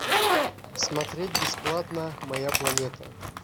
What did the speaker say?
смотреть бесплатно моя планета